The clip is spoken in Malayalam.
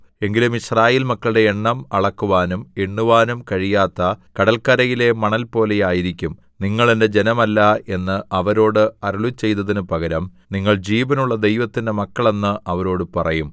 എങ്കിലും യിസ്രായേൽ മക്കളുടെ എണ്ണം അളക്കുവാനും എണ്ണുവാനും കഴിയാത്ത കടല്ക്കരയിലെ മണൽ പോലെയായിരിക്കും നിങ്ങൾ എന്റെ ജനമല്ല എന്ന് അവരോട് അരുളിച്ചെയ്തതിന് പകരം നിങ്ങൾ ജീവനുള്ള ദൈവത്തിന്റെ മക്കൾ എന്ന് അവരോട് പറയും